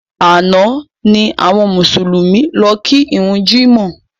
Àná ni àwọn Mùsùlùmí lọ ki ìrun jímọ̀